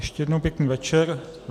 Ještě jednou pěkný večer.